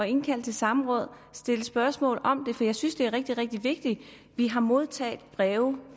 indkalde til samråd og stille spørgsmål om det for jeg synes det er rigtig rigtig vigtigt vi har modtaget breve